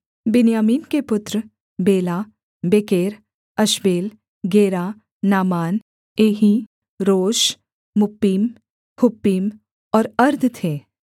बिन्यामीन के पुत्र Bela Becher Ashbel Gera Naaman Ehi Rosh Muppim Huppim और अर्द थे